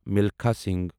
Milkha Singh